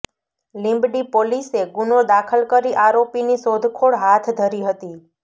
લીંબડી પોલીસે ગુનો દાખલ કરી આરોપીની શોધખોળ હાથ ધરી હતી